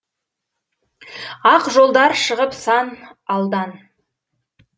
ақ жолдар шығып сан алдан